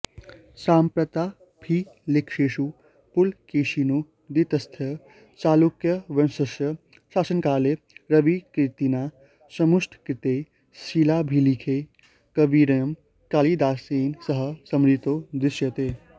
सम्प्राप्ताभिलेखेषु पुलकेशिनो द्वितीयस्य चालुक्यवंश्यस्य शासनकाले रविकीर्तिना समुट्टङ्किते शिलाभिलेखे कविरयं कालिदासेन सह स्मृतो दृश्यते